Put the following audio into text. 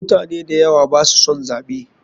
Mutane dayawa baso son zaɓe.